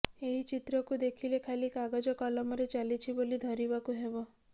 ଏହି ଚିତ୍ରକୁ ଦେଖିଲେ ଖାଲି କାଗଜ କଲମରେ ଚାଲିଛି ବୋଲି ଧରିବାକୁ ହେବ